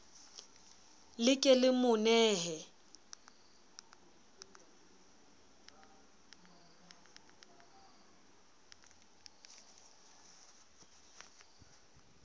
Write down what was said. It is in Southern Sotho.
le ke le mo nehe